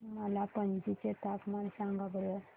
मला पणजी चे तापमान सांगा बरं